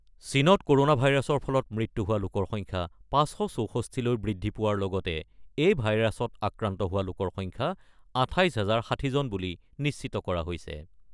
চীনত ক'ৰ'ণা ভাইৰাছৰ ফলত মৃত্যু হোৱা লোকৰ সংখ্যা ৫৬৪ লৈ বৃদ্ধি পোৱাৰ লগতে এই ভাইৰাছত আক্ৰান্ত হোৱা লোকৰ সংখ্যা ২৮ হাজাৰ ৬০জন বুলি নিশ্চিত কৰা হৈছে।